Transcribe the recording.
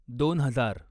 दोन हजार